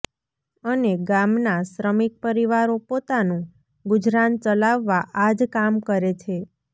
અને ગામના શ્રમિક પરિવારો પોતાનું ગુજરાન ચલાવવા આ જ કામ કરે છે